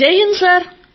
Jaihind sir